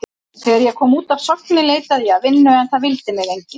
Þegar ég kom út af Sogni leitaði ég að vinnu en það vildi mig enginn.